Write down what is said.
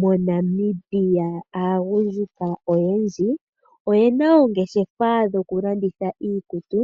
MoNamibia aagundjuka oyendji oyena oongeshefa dhoku landitha iikutu,